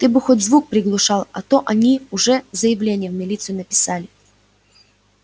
ты бы хоть звук приглушал а то они уже заявление в милицию написали